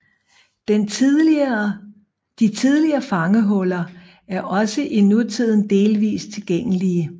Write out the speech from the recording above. De tidligere fangehuller er også i nutiden delvist tilgængelige